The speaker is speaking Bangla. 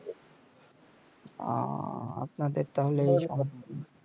আহ আপনাদের তাহলে এই সম্যসা